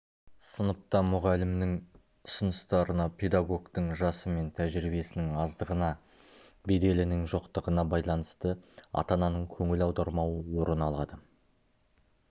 сыныпта мұғалімнің ұсыныстарына педагогтың жасы мен тәжірибесінің аздығына беделінің жоқтығына байланысты ата-ананың көңіл аудармауы орын алады